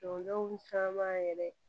Dɔndenw caman yɛrɛ